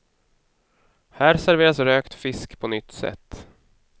Här serveras rökt fisk på nytt sätt.